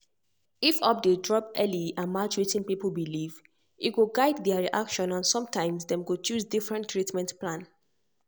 if update drop early and match wetin people believe e go guide their reaction and sometimes dem go choose different treatment plan.